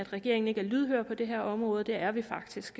regeringen ikke er lydhør på det her område det er vi faktisk